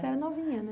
Você é novinha, né?